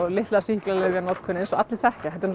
litla sýklalyfjanotkun eins og allir þekkja þetta er